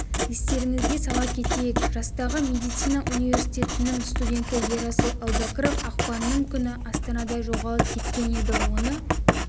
естеріңізге сала кетейік жастағы медицина университетінің студенті ерасыл әубәкіров ақпанның күні астанада жоғалып кеткен еді оны